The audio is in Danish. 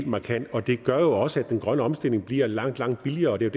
markant og det gør jo også at den grønne omstilling bliver langt langt billigere og det